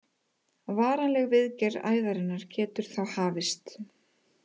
Varanleg viðgerð æðarinnar getur þá hafist.